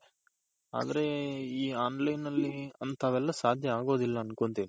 ಆದ್ರೆ ಈ online ನಲ್ಲಿ ಅಂತವೆಲ್ಲಸಾದ್ಯ ಆಗೋದಿಲ್ಲ ಅನ್ಕೊಂತೀನಿ.